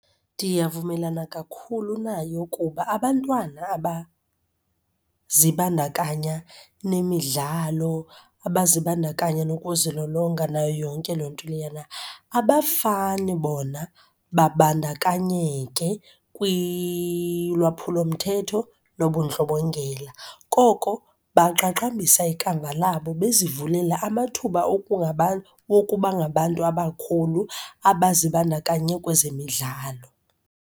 Ndiyavumelana kakhulu nayo kuba abantwana abazibandakanya nemidlalo, abazibandakanya nokuzilolonga, nayo yonke loo nto leyana abafane bona babandakanyeke kwilwaphulomthetho nobundlobongela. Koko baqaqambisa ikamva labo bezivulela amathuba wokubangabantu abakhulu abazibandakanye kwezemidlalo.